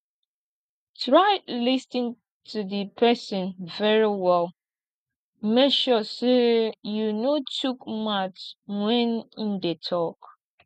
try lis ten to di persin very well make sure say you no shook mouth when im de talk